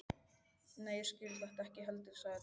Nei, ég skil þetta ekki heldur sagði Tóti.